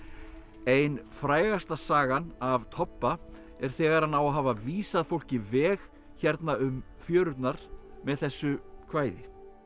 ein frægasta sagan af Tobba er þegar hann á að hafa vísað fólki veg hérna um fjörurnar með þessu kvæði